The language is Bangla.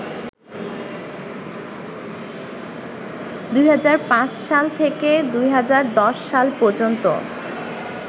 ২০০৫ সাল থেকে ২০১০ সাল পর্যন্ত